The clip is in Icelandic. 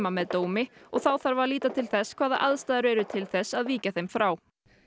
með dómi og þá þarf að líta til þess hvaða ástæður eru til þess að víkja þeim frá